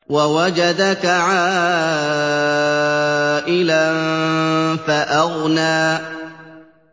وَوَجَدَكَ عَائِلًا فَأَغْنَىٰ